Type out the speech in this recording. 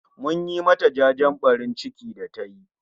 Mun yi ma ta jajen ɓarin ciki da tayi